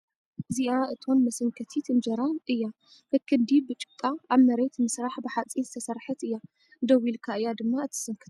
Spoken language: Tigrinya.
እዚኣ እቶን መሰንከቲት እንጀራ እያ ከክንዲ ብጭቓ ኣብ መሬት ምስራሕ ብሓፂን ዝተሰርሓት እያ ፡ ደው ኢልካ እያ ድማ እትስንከታ ።